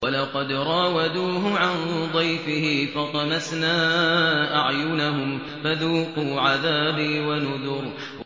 وَلَقَدْ رَاوَدُوهُ عَن ضَيْفِهِ فَطَمَسْنَا أَعْيُنَهُمْ فَذُوقُوا عَذَابِي وَنُذُرِ